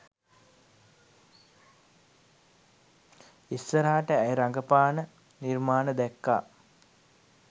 ඉස්සරහට ඇය රඟපාන නිර්මාණ දැක්කා